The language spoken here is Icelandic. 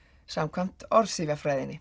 samkvæmt